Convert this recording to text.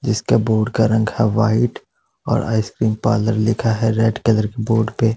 जिसका बोर्ड का रंग है व्हाइट और आइस क्रीम पार्लर लिखा है रेड कलर के बोर्ड पे।